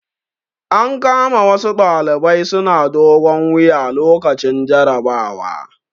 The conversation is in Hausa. An kama wasu ɗalibai suna dogon wuya lokacin jarabawa.